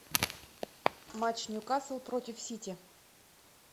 матч ньюкасл против сити